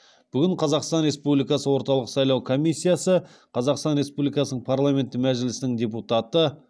бүгін қазақстан республикасы орталық сайлау комиссиясы қазақстан республикасының парламенті мәжілісінің депутаты